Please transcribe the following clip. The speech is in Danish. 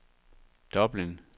Dublin